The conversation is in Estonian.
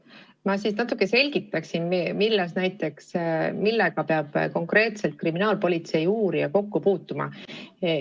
Ma siis natuke selgitan, millega peab kriminaalpolitsei uurija kokku puutuma.